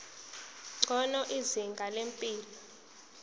ngcono izinga lempilo